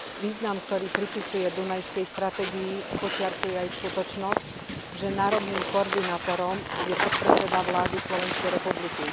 Význam, ktorý pripisuje Dunajskej stratégii, podčiarkuje aj skutočnosť, že národným koordinátorom je podpredseda vlády Slovenskej republiky.